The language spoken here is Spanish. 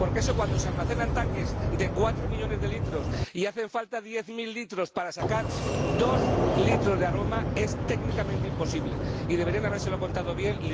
Porque eso, cuando el zumo se almacena en tanques de cuatro millones de litros y hacen falta diez mil litros para sacar dos litros de aroma, es técnicamente imposible, y deberían habérselo contado bien.